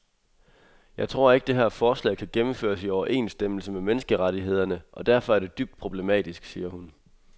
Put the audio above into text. Jeg tror ikke, det her forslag kan gennemføres i overensstemmelse med menneskerettighederne og derfor er det dybt problematisk, siger hun.